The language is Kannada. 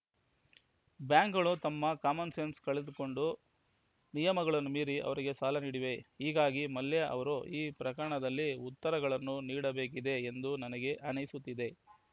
ಬ್ಯಾಂಕ್‌ಗಳು ತಮ್ಮ ಕಾಮನ್‌ಸೆನ್ಸ್ ಕಳೆದುಕೊಂಡು ನಿಯಮಗಳನ್ನು ಮೀರಿ ಅವರಿಗೆ ಸಾಲ ನೀಡಿವೆ ಹೀಗಾಗಿ ಮಲ್ಯ ಅವರು ಈ ಪ್ರಕರಣದಲ್ಲಿ ಉತ್ತರಗಳನ್ನು ನೀಡಬೇಕಿದೆ ಎಂದು ನನಗೆ ಅನಿಸುತ್ತಿದೆ